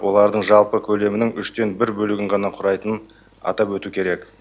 олардың жалпы көлемінің үштен бір бөлігін ғана құрайтынын атап өту керек